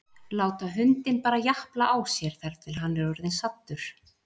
Láta hundinn bara japla á sér þar til hann er orðinn saddur?